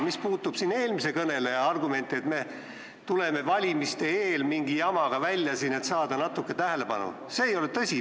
Mis puutub eelmise kõneleja argumenti, et me tuleme siin valimiste eel mingi jamaga välja, et saada natuke tähelepanu, siis see ei ole tõsi.